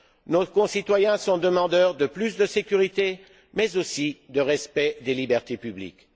Nos concitoyens sont demandeurs de plus de sécurité, mais aussi de respect des libertés publiques.